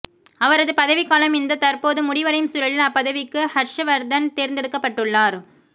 அவரது பதவிக்காலம் இந்தத் தற்போது முடிவடையும் சூழலில் அப்பதவிக்கு ஹர்ஷ்வர்தன் தேர்ந்தெடுக்கப்பட்டுள்ளார்